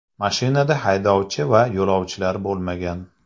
Mashinada haydovchi va yo‘lovchilar bo‘lmagan.